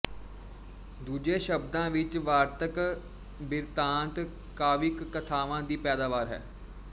ਦੂਜੇ ਸ਼ਬਦਾਂ ਵਿਚ ਵਾਰਤਕ ਬਿਰਤਾਂਤ ਕਾਵਿਕ ਕਥਾਵਾਂ ਦੀ ਪੈਦਾਵਾਰ ਹੈ